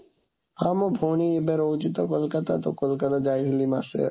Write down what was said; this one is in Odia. ହଁ, ମୋ ଭଉଣୀ ଏବେ ରହୁଛି ତ କୋଲକତା, ତ କୋଲକତା ଯାଇଥିଲି ମାସେ।